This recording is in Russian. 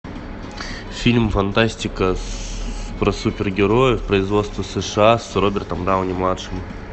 фильм фантастика про супергероев производство сша с робертом дауни младшим